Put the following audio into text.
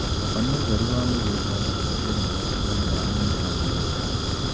Tabania ũtheru wa mũgũnda na kweheria matigari ma mĩmera mũgũndainĩ